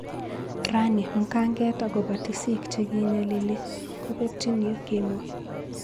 "Rani mkanget akobo tisiik che kinyalili kobekyin yu,"kimwa.